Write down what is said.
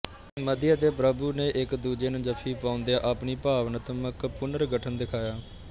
ਮਧੀ ਅਤੇ ਪ੍ਰਭੂ ਨੇ ਇੱਕ ਦੂਜੇ ਨੂੰ ਜੱਫੀ ਪਾਉਂਦਿਆਂ ਆਪਣੀ ਭਾਵਨਾਤਮਕ ਪੁਨਰਗਠਨ ਦਿਖਾਇਆ